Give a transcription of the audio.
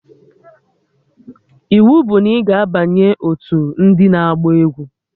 Iwu bụ na ị ga-abanye otu ndị na-agba egwu!